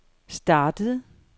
startede